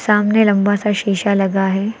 सामने लंबा सा शीशा लगा है।